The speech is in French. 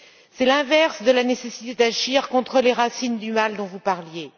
C'est l'inverse de la nécessité d'agir contre les racines du mal dont vous parliez.